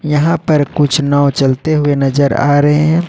यहां पर कुछ नाव चलते हुए नजर आ रहे हैं।